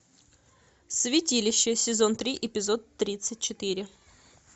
святилище сезон три эпизод тридцать четыре